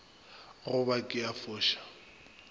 go ba ke a foša